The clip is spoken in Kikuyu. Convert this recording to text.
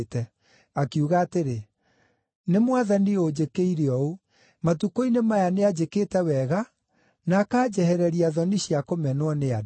Akiuga atĩrĩ, “Nĩ Mwathani ũnjĩkĩire ũũ. Matukũ-inĩ maya nĩanjĩkĩte wega na akanjehereria thoni cia kũmenwo nĩ andũ.”